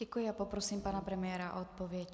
Děkuji a poprosím pana premiéra o odpověď.